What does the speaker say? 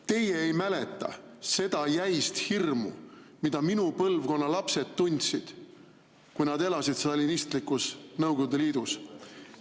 Teie ei mäleta seda jäist hirmu, mida minu põlvkonna lapsed tundsid, kui nad elasid stalinistlikus Nõukogude Liidus.